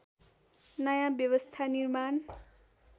नयाँ व्यवस्था निर्माण